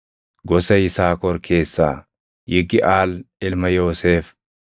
gosa Yisaakor keessaa Yigiʼaal ilma Yoosef;